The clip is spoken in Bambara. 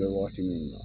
I bɛ waati min na